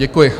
Děkuji.